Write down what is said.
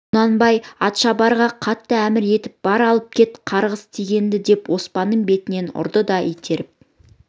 құнанбай атшабарға қатты әмір етіп бар алып кет қарғыс тигенді деп оспанның бетін бұрды да итеріп